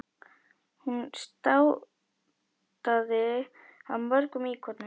Hún státaði af mörgum íkonum.